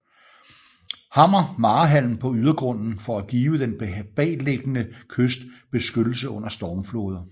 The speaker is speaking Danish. Hammer marehalm på ydergrunden for at give den bagliggende kyst beskyttelse under stormfloder